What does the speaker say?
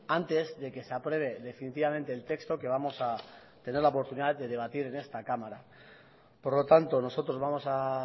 antes de que se apruebe definitivamente el texto que vamos a tener la oportunidad de debatir en esta cámara por lo tanto nosotros vamos a